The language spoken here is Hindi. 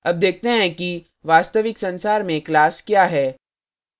अब देखते हैं कि वास्तविक संसार में class क्या है